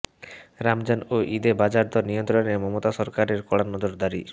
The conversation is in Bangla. রমজান ও ঈদে বাজারদর নিয়ন্ত্রণে মমতা সরকারের কড়া নজরদারি